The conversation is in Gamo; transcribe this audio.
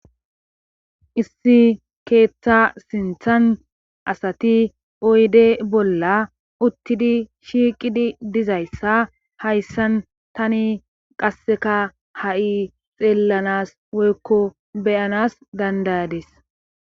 issi keeththa sinthan asati oyde bolla uttidi shiiqidi dizayssa hayssan tani qasseka ha7i xeellanas woykko beyanas dandayades